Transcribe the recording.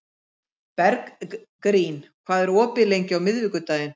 Bergrín, hvað er opið lengi á miðvikudaginn?